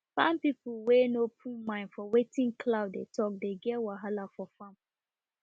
farm people we no put mind for wetin cloud dey talk de get wahala for farm